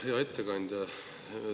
Hea ettekandja!